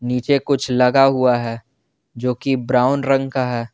नीचे कुछ लगा हुआ है जो की ब्राउन रंग का है।